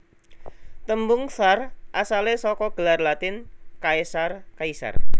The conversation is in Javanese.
Tembung tsar asalé saka gelar Latin Caesar Kaisar